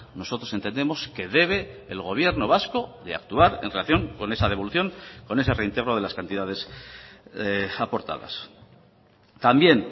nosotros entendemos que debe el gobierno vasco de actuar en relación con esa devolución con ese reintegro de las cantidades aportadas también